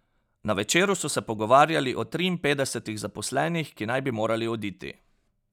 Na Večeru so se pogovarjali o triinpetdesetih zaposlenih, ki naj bi morali oditi.